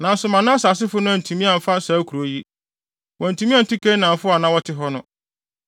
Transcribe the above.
Nanso Manase asefo no antumi amfa saa nkurow yi. Wɔantumi antu Kanaanfo a na wɔte hɔ no.